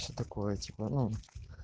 что такое типо ну